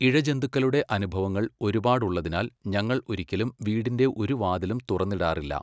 ഇഴജന്തുക്കളുടെ അനുഭവങ്ങൾ ഒരുപാട് ഉള്ളതിനാൽ ഞങ്ങൾ ഒരിക്കലും വീടിന്റെ ഒരു വാതിലും തുറന്നിടാറില്ല.